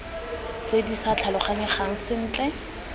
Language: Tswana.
tse di sa tlhaloganyegang sentle